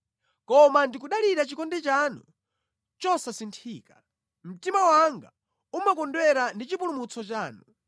Koma ndikudalira chikondi chanu chosasinthika; mtima wanga umakondwera ndi chipulumutso chanu.